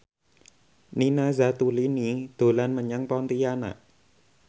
Nina Zatulini dolan menyang Pontianak